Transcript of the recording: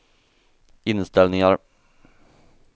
inställningar